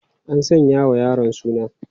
An sanya wa yaron suna?